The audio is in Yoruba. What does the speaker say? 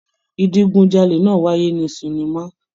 Idigunjale náà wáyé nínú sinima.